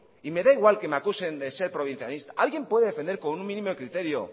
y me da igual que me acusen de ser provincianista